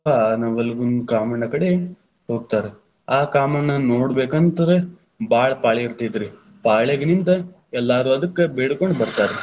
ಆ ನವಲಗುಂದ ಕಾಮಣ್ಣ ಕಡೆ ಹೋಗ್ತಾರ, ಆ ಕಾಮಣ್ಣನ್‌ ನೋಡಬೇಕಂತ್ರ ಭಾಳ ಪಾಳೆ ಇತೇ೯ತ್ರಿ, ಪಾಳೆಗ ನಿಂತ ಎಲ್ಲಾರೂ ಅದಕ್ ಬೇಡಕೊಂಡ ಬತಾ೯ರ.